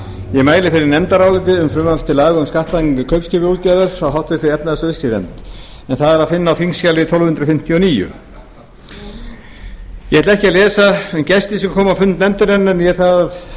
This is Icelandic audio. ég mæli fyrir nefndaráliti um frumvarp til laga um skattlagningu kaupskipaútgerðar frá háttvirtri efnahags og viðskiptanefnd en það er að finna á þingskjali tólf hundruð fimmtíu og níu ég ætla ekki að lesa um gesti sem komu á fund nefndarinnar né